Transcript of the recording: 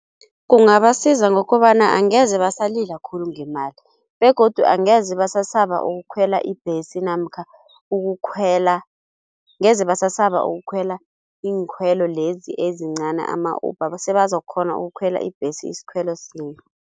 Kungabasiza ngokobana angeze basalila khulu ngemali begodu angeze basasaba ukukhwela ibhesi namkha ukukhwela ngeze basasaba ukukhwela iinkhwelo lezi ezincani ama-Uber sebazokukghona ukukhwela ibhesi isikhwelo sinye.